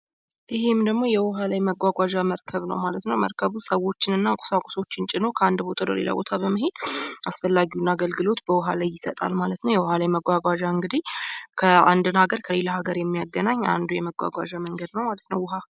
ይህም ደግሞ የዉሀ ላይ መጓጓዣ መርከብ ነው ማለት ነው። መርከቡ ሰዎችን እና ቁሳቁሶችን ጭኖ ከአንድ ቦታ ወደ ለሌላ ቦታ በመሄድ አሰፈላጊውን አገልግሎት በዉሃ ላይ ይሰጣል። ማለት ነው። የውሃ ላይ መጓጓዣ እንግዲህ አንድን ሀገር ከሌላ ሀገር የሚያገናኝ አንዱ የመጓጓዣ መንገድ ነው።